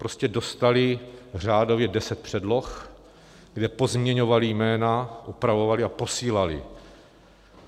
Prostě dostali řádově deset předloh, kde pozměňovali jména, upravovali a posílali.